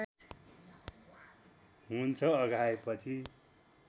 हुन्छ अघाएपछि